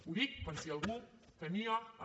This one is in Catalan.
ho dic per si algú tenia el